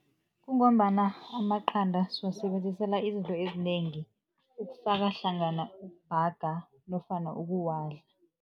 Kungombana amaqanda siwasebenzisela izinto ezinengi, ukufaka hlangana ukubhaga nofana ukuwadla.